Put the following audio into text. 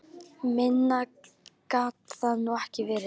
Minna gat það nú ekki verið.